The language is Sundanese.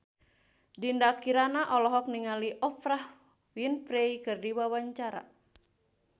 Dinda Kirana olohok ningali Oprah Winfrey keur diwawancara